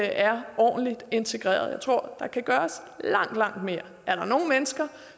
er ordentligt integreret jeg tror der kan gøres langt langt mere er der nogle mennesker